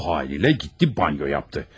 O halı ilə getti banyo yapdı.